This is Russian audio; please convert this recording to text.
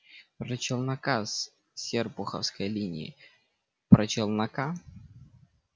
про челнока с серпуховской линии про челнока